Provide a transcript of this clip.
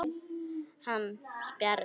Hann spjarar sig.